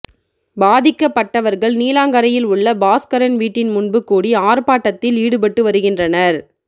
பாதிக்கப்பட்டவர்கள் நீலாங்கரையில் உள்ள பாஸ்கரன் வீட்டின் முன்பு கூடி ஆர்பாட்டத்தில் ஈடுபட்டு வருகின்றனர்